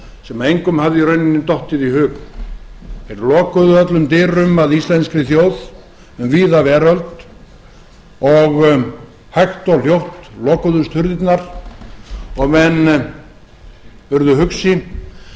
sem engum hafði í rauninni dottið í hug þeir lokuðu öllum dyrum að íslenskri þjóð um víða veröld og hægt og hljótt lokuðust hurðirnar og menn urðu hugsi